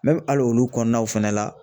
Ne bi ali olu kɔnɔnaw fɛnɛ la